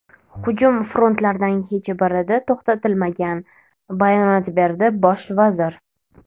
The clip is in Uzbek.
Hujum frontlardan hech birida to‘xtatilmagan”, bayonot berdi bosh vazir.